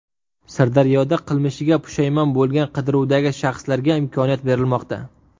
Sirdaryoda qilmishiga pushaymon bo‘lgan qidiruvdagi shaxslarga imkoniyat berilmoqda.